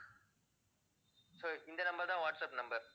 so இந்த number தான் WhatsApp number